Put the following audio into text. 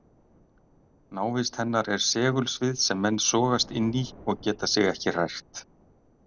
Návist hennar er segulsvið sem menn sogast inn í og geta sig ekki hrært.